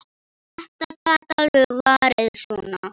Þetta gat alveg farið svona.